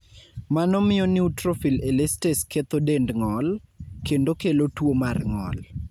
Mano miyo neutrophil elastase ketho dend ng'ol, kendo kelo tuo mar ng'ol.